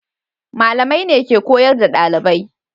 Malamai ne ke koyar da dalibai.